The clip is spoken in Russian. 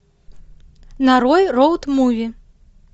нарой роуд муви